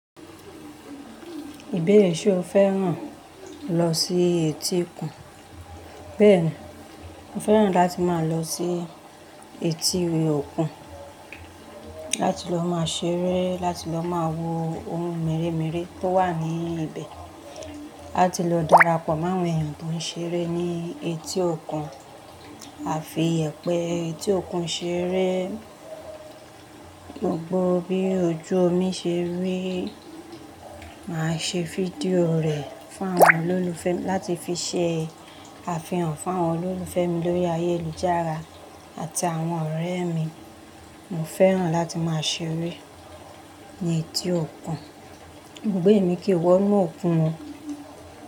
Ìbeere so fẹ́ràn lọ sí etí òkun. Bẹ́ẹ̀ni, mo fẹ́ràn láti máa lọ sí etí òkun, láti lọ máa ṣeré, láti lọ máa wo ohun mèremère tó wà ní ibẹ̀, láti lọ darapọ̀ mọ́ àwọn ènìyàn tó ń ṣeré ní etí òkun, àfi ìyẹ̀pẹ̀ etí òkun ṣeré. Gbogbo bí ojú mi ṣe rí, màá ṣe video rẹ̀ fún àwọn olólùfẹ́ mi láti fi ṣẹ àfihàn fún àwọn olólùfẹ́ mi lórí ayélujára àti àwọn ọ̀rẹ́ mi. Mo fẹ́ràn láti máa ṣeré ní etí òkun. Òògbé mi kì í wọ inú òkun mọ́.